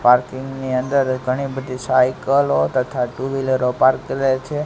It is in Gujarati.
પાર્કિંગ ની અંદર ઘણી બધી સાયકલો તથા ટુ વ્હીલરો પાર્ક કરે છે.